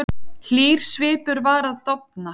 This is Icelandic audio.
Hlýr svipur var að dofna.